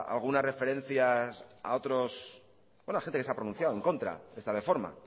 algunas referencias a otros bueno a gente que se ha pronunciado en contra de esta reforma